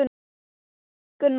Eða var hún að stríða honum?